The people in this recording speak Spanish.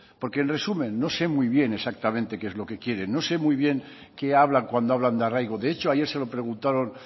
porque en resumen no sé muy bien exactamente qué es lo quieren no sé muy bien qué hablan cuando hablan de arraigo de hecho ayer se lo preguntaron